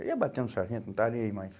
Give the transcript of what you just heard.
Eu ia bater no sargento, não estava nem aí mais.